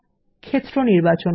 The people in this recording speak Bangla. ক্ষেত্র নির্বাচন করা